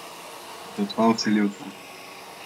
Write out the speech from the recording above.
V dva vsiljivca.